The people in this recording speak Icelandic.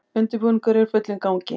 Undirbúningur er í fullum gangi